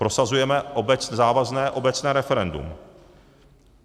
Prosazujeme závazné obecné referendum.